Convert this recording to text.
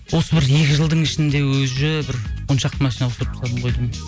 осы бір екі жылдың ішінде уже бір он шақты машина ауыстырып тастадым ғой деймін